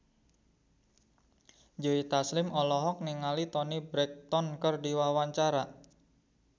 Joe Taslim olohok ningali Toni Brexton keur diwawancara